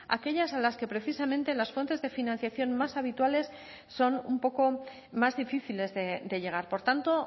aquellas a las que precisamente las fuentes de financiación más habituales son un poco más difíciles de llegar por tanto